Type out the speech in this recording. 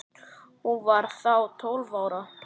Hún var þá tólf ára.